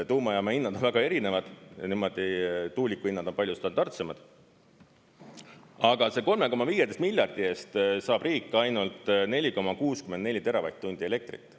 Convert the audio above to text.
Tuumajaama hinnad on väga erinevad, tuulikuhinnad on palju standardsemad, aga 3,15 miljardi eest saab riik ainult 4,64 teravatt-tundi elektrit.